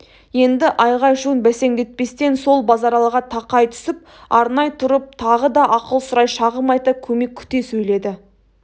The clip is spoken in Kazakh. енді айғай-шуын бәсеңдетпестен сол базаралыға тақай түсіп арнай тұрып тағы да ақыл сұрай шағым айта көмек күте сөйледі